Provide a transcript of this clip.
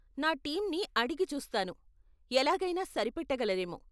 నా టీంని అడిగి చూస్తాను, ఎలాగైనా సరిపెట్టగలరేమో.